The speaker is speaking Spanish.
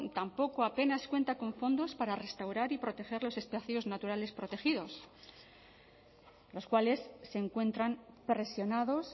tampoco apenas cuenta con fondos para restaurar y proteger los espacios naturales protegidos los cuales se encuentran presionados